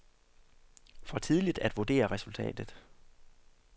For tidligt at vurdere resultatet.